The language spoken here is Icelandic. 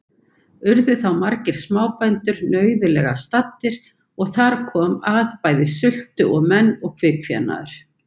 Urðu þá margir smábændur nauðulega staddir, og þar kom að bæði sultu menn og kvikfénaður.